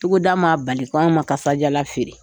Togoda ma bali k'an ma kasajalan feere.